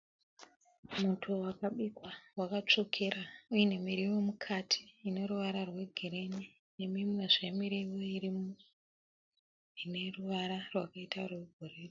Muto wakabikwa wakatsvukira uine miriwo mukati ine ruvara rwegirinhi nemimwezve miriwo irimo ine ruvara rwakaita rwegirinhi.